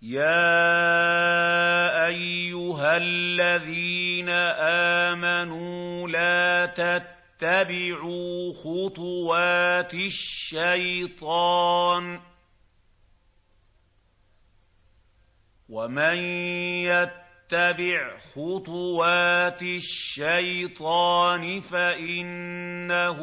۞ يَا أَيُّهَا الَّذِينَ آمَنُوا لَا تَتَّبِعُوا خُطُوَاتِ الشَّيْطَانِ ۚ وَمَن يَتَّبِعْ خُطُوَاتِ الشَّيْطَانِ فَإِنَّهُ